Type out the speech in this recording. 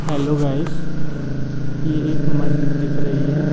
Hello guys ये एक मस्जिद दिख रही है।